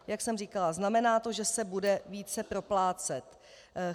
Jak jsem říkala, znamená to, že se bude více proplácet.